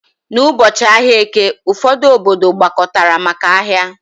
N'ụbọchị ahịa Eke, ụfọdụ obodo gbakọtara maka ahia